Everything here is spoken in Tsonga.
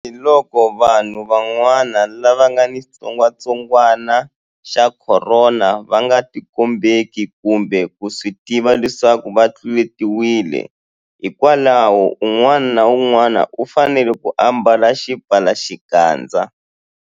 Tanihiloko vanhu van'wana lava nga ni xitsongwantsongwana xa Khorona va nga tikombeki kumbe ku swi tiva leswaku va tluletiwile, hikwalaho un'wana na un'wana u fanele ku ambala xipfalaxikandza.